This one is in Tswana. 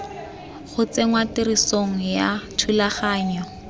go tsenngwa tirisong ga thulaganyo